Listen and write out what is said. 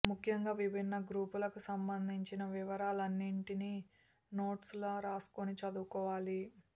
ముఖ్యంగా విభిన్న గ్రూపులకు సంబంధించిన వివరాన్నింటినీ నోట్సులా రాసుకుని చదువుకోవాలి